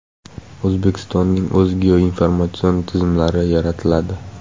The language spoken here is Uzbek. O‘zbekistonning o‘z geoinformatsion tizimlari yaratiladi.